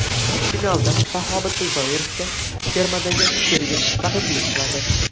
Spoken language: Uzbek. Finalda Shahobiddin Zoirovga termadagi sherigi raqiblik qiladi.